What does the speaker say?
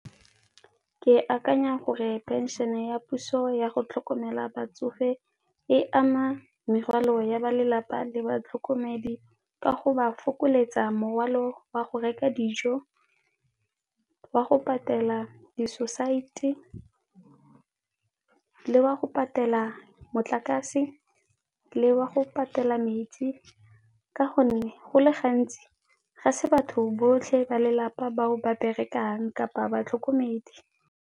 Ke akanya gore phenšene ya puso ya go tlhokomela batsofe e ama merwalo ya ba lelapa le batlhokomedi ka go ba fokoletsa morwalo wa go reka dijo, wa go patela di-society le wa go patela motlakase le wa go patela metsi. Ka gonne go le gantsi ga se batho botlhe ba lelapa ba o ba berekang kapa batlhokomedi.